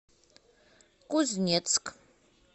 кузнецк